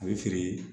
A bɛ feere